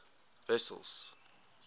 wessels